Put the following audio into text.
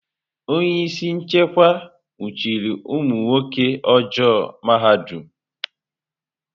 Onye isi nchekwa nwụchiri ụmụ nwoke ọjọọ mahadum.